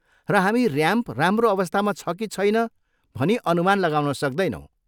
र हामी ऱ्याम्प राम्रो अवस्थामा छ कि छैन भनी अनुमान लगाउन सक्दैनौँ।